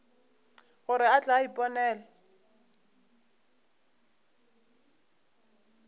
gore a tle a iponele